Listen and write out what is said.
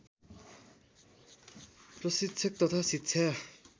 प्रशिक्षक तथा शिक्षा